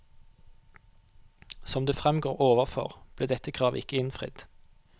Som det fremgår overfor, ble dette kravet ikke innfridd.